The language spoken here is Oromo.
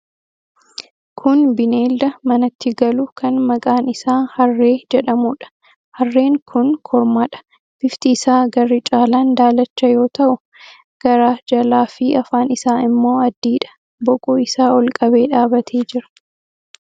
Kun bineelda manatti galu kan maqaan isaa harree jedhamuudha. Harreen kun kormaadha. Bifti isaa garri caalaan daalacha yoo ta'u, garaa jalaa fi afaan isaa immoo adiidha. Boquu isaa ol qabee dhaabbatee jira.